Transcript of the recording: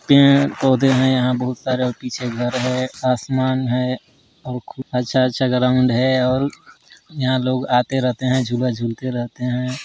पेड़ पौधे हैं यहाँ बहुत सारे और पीछे घर है आसमान है और खूब अच्छा-अच्छा ग्राउंड है और यहाँ लोग आते रहते हैं झूला झूलते रहते हैं।